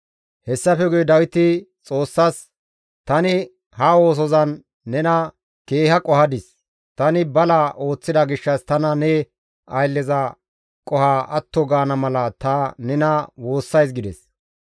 Hessafe guye Dawiti Xoossas, «Tani ha oosozan nena keeha qohadis; tani bala ooththida gishshas tana ne aylleza qoho atto gaana mala ta nena woossays» gides.